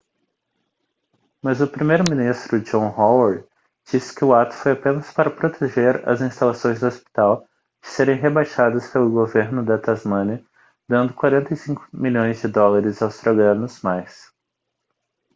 mas o primeiro-ministro john howard disse que o ato foi apenas para proteger as instalações do hospital de serem rebaixadas pelo governo da tasmânia dando 45 milhões de dólares australianos mais